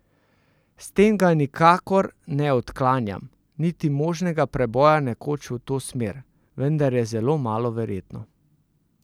S tem ga nikakor ne odklanjam, niti možnega preboja nekoč v to smer, vendar je zelo malo verjetno.